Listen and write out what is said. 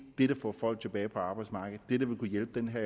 det der får folk tilbage på arbejdsmarkedet det der vil kunne hjælpe den her